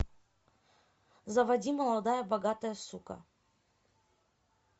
заводи молодая богатая сука